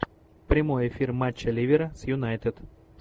прямой эфир матча ливера с юнайтед